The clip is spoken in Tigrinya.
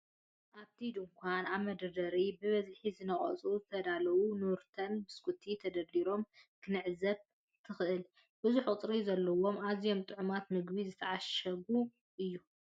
ኣብቲ ድኳን፡ ኣብ መደርደሪታት ብብዝሒ ዝነቐጹን ዝተዳለዉን “ኑርተን” ቢስኩት ተደራሪቦም ክትዕዘብ ትኽእል። ብዙሕ ቁጽሪ ዘለዎን ኣዝዩ ጥዑምን ምግቢ ዝተዓሸጎ እዩ፡፡